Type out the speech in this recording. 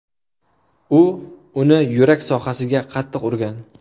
U uni yurak sohasiga qattiq urgan.